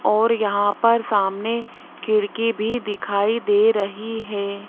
और यहां पर सामने खिड़की भी दिखाई दे रही हैं।